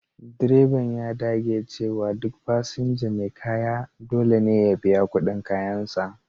Direban ya dage cewa duk fasinja mai kaya dole ne ya biya kudin kayansa.